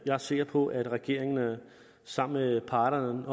er sikker på at regeringen sammen med parterne